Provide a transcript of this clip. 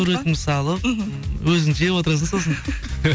суретімді салып мхм өзің жеп отырасың сосын